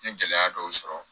N ye gɛlɛya dɔw sɔrɔ